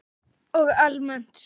Og almennt stuð!